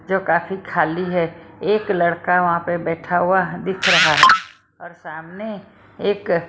जो काफी खाली है एक लड़का वहां पे बैठा हुआ दिख रहा है और सामने एक---